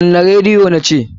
Kunna rediyo na ce!